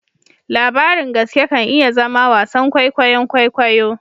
Labarin gaske kan iya zama wasan kwaikwayon kwaikwayo